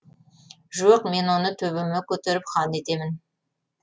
жоқ мен оны төбеме көтеріп хан етемін